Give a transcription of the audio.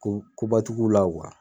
Ko koba ti k'u la .